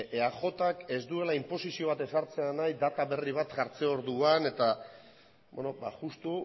ezta eajk ez duela inposizio bat ezartzea nahi data berri bat jartze orduan justu